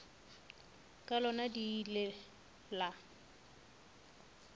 ka lona le ile la